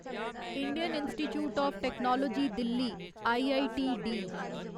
Indian institute of technology Delhi IITD